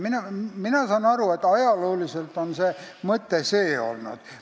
Mina saan aru, et ajalooliselt on siin selline mõte olnud.